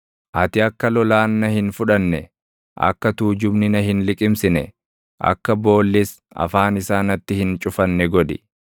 Ati akka lolaan na hin fudhanne, akka tuujubni na hin liqimsine, akka boollis afaan isaa natti hin cufanne godhi.